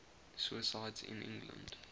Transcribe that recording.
suicides in england